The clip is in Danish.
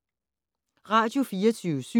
Radio24syv